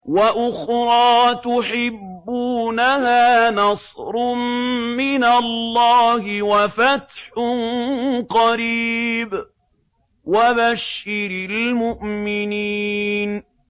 وَأُخْرَىٰ تُحِبُّونَهَا ۖ نَصْرٌ مِّنَ اللَّهِ وَفَتْحٌ قَرِيبٌ ۗ وَبَشِّرِ الْمُؤْمِنِينَ